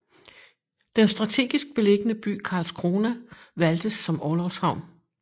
Den strategisk beliggende by Karlskrona valgtes som orlogshavn